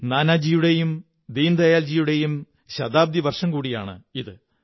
നാനാജിയുടെയും ദീനദയാല്ജിസയുടെയും ശതാബ്ദി വര്ഷംധ കൂടിയാണ് ഇത്